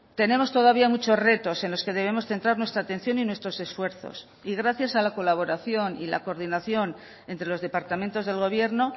tenemos todavía muchos retos en los que debemos centrar nuestra atención y nuestros esfuerzos y gracias a la colaboración y la coordinación entre los departamentos del gobierno